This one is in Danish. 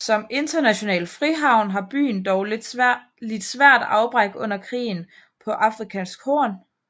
Som international frihavn har byen dog lidt svært afbræk under krigen på Afrikas horn